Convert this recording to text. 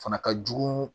Fana ka jugu